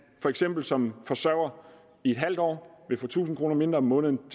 for eksempel som forsørger i et halvt år vil få tusind kroner mindre om måneden